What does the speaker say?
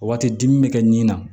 O waati dimi bɛ kɛ nin na